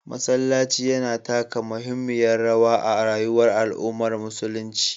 Masallaci yana taka muhimmiyar rawa a rayuwar al’ummar musulunci.